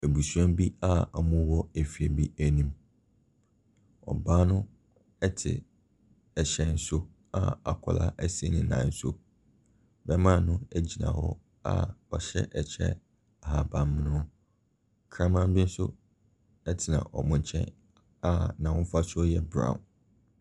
Abusua bi a wɔwɔ efie bi anim. Ɔbaa no te hyɛn so a akwadaa si ne nan so. Barima no gyina hɔ a ɔhyɛ ɛkyɛ ahaban mono. Ɔkraman bi nso tena wɔn nkyɛn a n'ahofasuo yɛ brown.